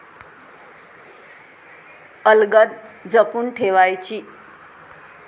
अलगद जपून ठेवायची!